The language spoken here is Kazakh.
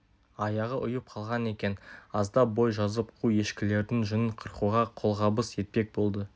аяғы ұйып қалған екен аздап бой жазып қу ешкілердің жүнін қырқуға қолғабыс етпек болды